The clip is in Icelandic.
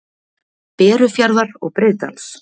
Berufjarðar og Breiðdals.